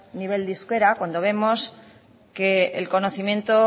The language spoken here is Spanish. nivel de euskera cuando vemos que el conocimiento